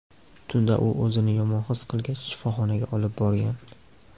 Tunda u o‘zini yomon his qilgach shifoxonaga olib borgan.